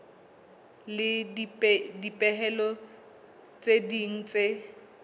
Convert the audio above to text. le dipehelo tse ding tse